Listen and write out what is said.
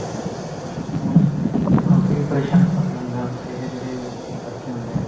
ਉਹਨੂੰ ਕਾਫੀ ਪਰੇਸ਼ਾਨ ਕਰਦੇ ਹੁੰਦੇ ਆ ਉੱਥੋਂ ਦੇ ਜਿਹੜੇ ਬੱਚੇ ਹੁਨੇ ਆ